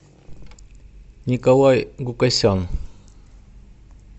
николай гукасян